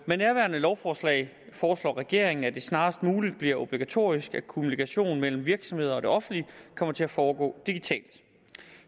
med nærværende lovforslag foreslår regeringen at det snarest muligt bliver obligatorisk at kommunikation mellem virksomheder og det offentlige kommer til at foregå digitalt